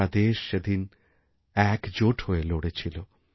গোটা দেশ সেদিন একজোট হয়ে লড়েছিল